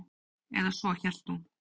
Eða svo hélt hún.